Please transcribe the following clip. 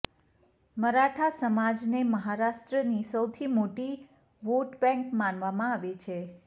મરાઠા સમાજને મહારાષ્ટ્રની સૌથી મોટી વોટબેંક માનવામાં આવે છે